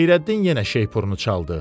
Xeyrəddin yenə şeypurunu çaldı.